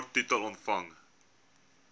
kort titel omvang